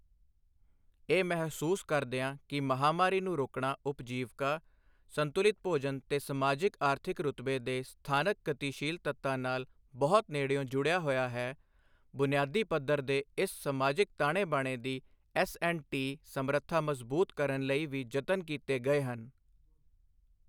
ਇਹ ਮਹਿਸੂਸ ਕਰਦਿਆਂ ਕਿ ਮਹਾਮਾਰੀ ਨੂੰ ਰੋਕਣਾ ਉਪਜੀਵਕਾ, ਸੰਤੁਲਿਤ ਭੋਜਨ ਤੇ ਸਮਾਜਿਕ ਆਰਥਿਕ ਰੁਤਬੇ ਦੇ ਸਥਾਨਕ ਗਤੀਸ਼ੀਲ ਤੱਤਾਂ ਨਾਲ ਬਹੁਤ ਨੇੜਿਓਂ ਜੁੜਿਆ ਹੋਇਆ ਹੈ ਬੁਨਿਆਦੀ ਪੱਧਰ ਦੇ ਇਸ ਸਮਾਜਿਕ ਤਾਣੇ ਬਾਣੇ ਦੀ ਐੱਸਐਂਡਟੀ ਸਮਰੱਥਾ ਮਜ਼ੂਬਤ ਕਰਨ ਲਈ ਵੀ ਯਤਨ ਕੀਤੇ ਗਏ ਹਨ।